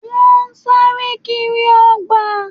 Wọ́n sáré kiri ọgbà